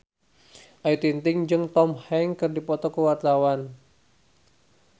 Ayu Ting-ting jeung Tom Hanks keur dipoto ku wartawan